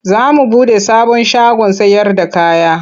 Za mu buɗe sabon shagon sayarda kaya.